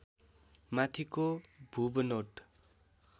माथिको भूबनोट